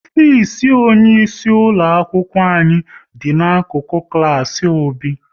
Ofisi onye isi ulo akwụkwọ anyị dị n'akụkụ klas Obi